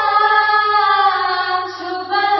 vocal